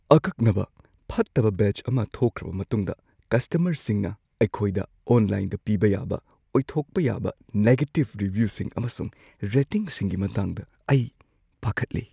ꯑꯀꯛꯅꯕ ꯐꯠꯇꯕ ꯕꯦꯆ ꯑꯃ ꯊꯣꯛꯈ꯭ꯔꯕ ꯃꯇꯨꯡꯗ ꯀꯁꯇꯃꯔꯁꯤꯡꯅ ꯑꯩꯈꯣꯏꯗ ꯑꯣꯟꯂꯥꯏꯟꯗ ꯄꯤꯕ ꯌꯥꯕ ꯑꯣꯏꯊꯣꯛꯄ ꯌꯥꯕ ꯅꯦꯒꯦꯇꯤꯚ ꯔꯤꯚ꯭ꯌꯨꯁꯤꯡ ꯑꯃꯁꯨꯡ ꯔꯦꯇꯤꯡꯁꯤꯡꯒꯤ ꯃꯇꯥꯡꯗ ꯑꯩ ꯄꯥꯈꯠꯂꯤ꯫